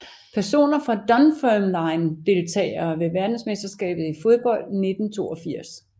Personer fra Dunfermline Deltagere ved verdensmesterskabet i fodbold 1982